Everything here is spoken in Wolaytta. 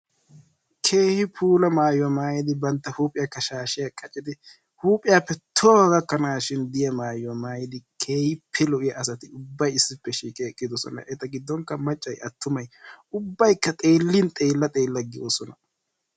Keehi puula maayuwa maayidi bantta huuphiyakka shaashiya qaccidi huuphiyaappe tohuwa gakkanashin diya maayuwa maayidi keehippe lo'iya asati ubbay issippe shiiqidi eqqidosona. Eta giddon qa maccay attumay ubbayikka xeellin xeella xeella goosona.